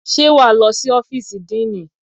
Ṣé wà á lọ sí ófìsì àdénì?